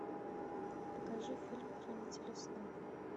покажи фильм хранители снов